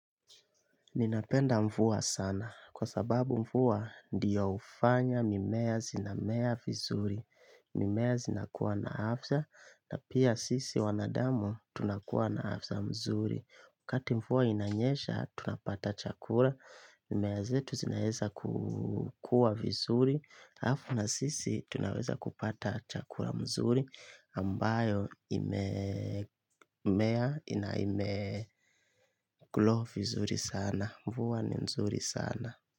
Ninapenda mvua sana kwa sababu mvua ndiyo hufanya mimea zinamea vizuri, mimea zinakuwa na afya na pia sisi wanadamu tunakuwa na afya mzuri. Wakati mvua inanyesha tunapata chakula, mimea zetu zinaweza kukua vizuri, halafu na sisi tunaweza kupata chakula mzuri ambayo imemea inaimegrow vizuri sana. Mvua ni mzuri sana.